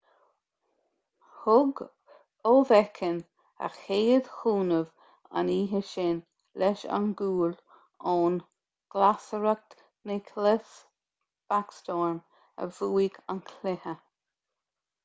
thug oveckhin a chéad chúnamh an oíche sin leis an gcúl ón nglasearcach nicklas backstrom a bhuaigh an cluiche